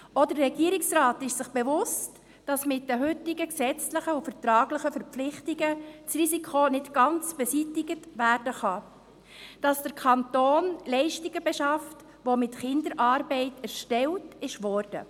Auch der Regierungsrat ist sich bewusst, dass mit den heutigen gesetzlichen und vertraglichen Verpflichtungen das Risiko nicht ganz beseitigt werden kann, dass der Kanton Leistungen beschafft, welche mit Kinderarbeit erbracht wurden.